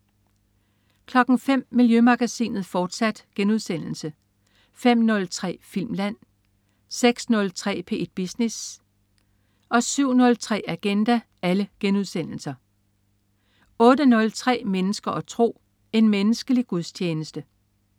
05.00 Miljømagasinet, fortsat* 05.03 Filmland* 06.03 P1 Business* 07.03 Agenda* 08.03 Mennesker og tro. En menneskelig gudstjeneste